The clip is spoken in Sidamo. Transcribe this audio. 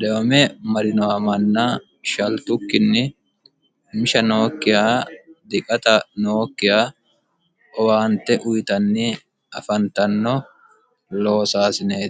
deyome marinowa manna shaltukkinni misha nookkiha diqata nookkiha owaante uyitanni afantanno loosaasineeti